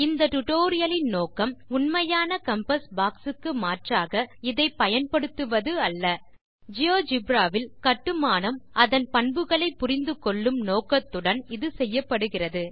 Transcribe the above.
இந்த பாடத்தின் நோக்கம் உண்மையான காம்பாஸ் பாக்ஸ் க்கு மாற்றாக இதை பயன்படுத்துவது அல்ல ஜியோஜெப்ரா இல் கட்டுமானம் அதன் பண்புகளை புரிந்து கொள்ளும் நோக்கத்துடன் செய்யப்படுகிறது